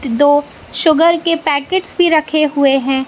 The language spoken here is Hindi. दो शुगर के पैकेटस भी रखे हुए हैं।